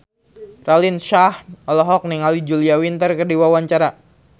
Raline Shah olohok ningali Julia Winter keur diwawancara